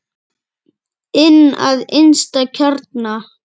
Inn að innsta kjarna.